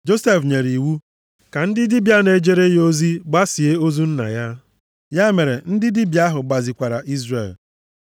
Josef nyere iwu, ka ndị dibịa na-ejere ya ozi gbasie ozu nna ya. Ya mere, ndị dibịa ahụ gbasikwara Izrel.